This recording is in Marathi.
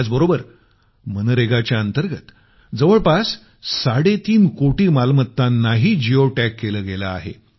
याचबरोबर मनरेगाच्या अंतर्गत जवळपास साडेतीन कोटी मालमत्तानाही जिओ टॅग केलं गेलं आहे